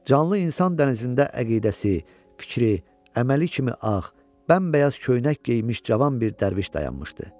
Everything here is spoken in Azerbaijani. Canlı insan dənizində əqidəsi, fikri, əməli kimi ağ, bəmbəyaz köynək geymiş cavan bir dərviş dayanmışdı.